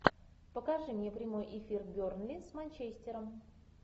покажи мне прямой эфир бернли с манчестером